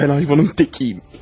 Mən heyvanın təkıyəm.